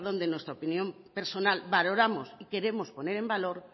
de nuestra opinión personal valoramos y queremos poner en valor